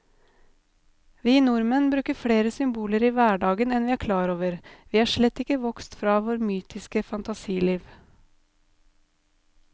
Vi nordmenn bruker flere symboler i hverdagen enn vi er klar over, vi er slett ikke vokst fra vårt mytiske fantasiliv.